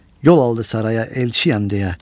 Yol aldı saraya elçiyəm deyə.